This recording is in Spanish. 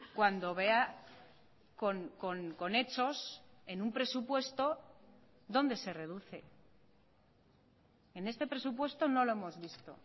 cuando vea con hechos en un presupuesto dónde se reduce en este presupuesto no lo hemos visto